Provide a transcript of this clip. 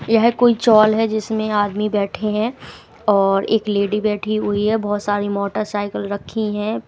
यह कोई चौल है जिसमें आदमी बैठे हैं और एक लेडी बैठी हुई है बहुत सारी मोटरसाइकिल रखी हैं।